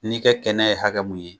N'i kɛ kɛnɛ ye hakɛ min ye